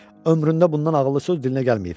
Ömründə bundan ağıllı söz dilinə gəlməyib.